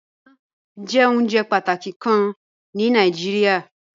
Ìyan jẹ ounjẹ pataki kan ni Nàìjíríà